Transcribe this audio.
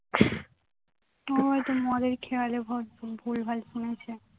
ও হয়তো মদের খেয়ালে ভুলভাল শুনেছে